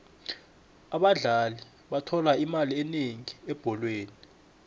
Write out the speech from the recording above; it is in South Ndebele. abadlali bathola imali enengi ebholweni